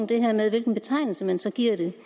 det her med hvilken betegnelse man så giver det